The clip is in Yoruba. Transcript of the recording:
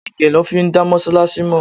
Age lọ fi máa ń dá Mọ́sálásí mọ.